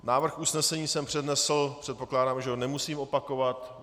Návrh usnesení jsem přednesl, předpokládám, že ho nemusím opakovat.